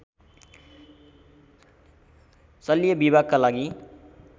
शल्य विभागका लागि